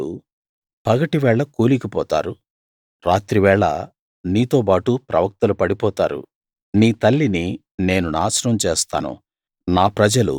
యాజకులు పగటి వేళ కూలిపోతారు రాత్రివేళ నీతోబాటు ప్రవక్తలు పడిపోతారు నీ తల్లిని నేను నాశనం చేస్తాను